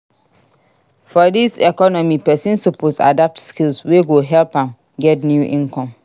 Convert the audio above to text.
For dis economy pesin suppose adapt skills wey go help am get new income.